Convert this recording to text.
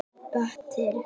Beitir